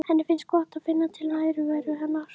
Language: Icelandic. Henni finnst gott að finna til nærveru hennar.